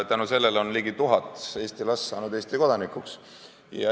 Tänu sellele on ligi tuhat Eesti last saanud Eesti kodanikuks.